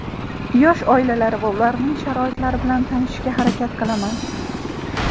yosh oilalar va ularning sharoitlari bilan tanishishga harakat qilaman.